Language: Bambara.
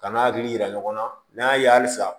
Ka n'a hakili yira ɲɔgɔn na n'a ye halisa